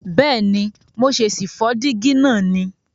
Bèéni, mo ṣè sì fó dígí náà ni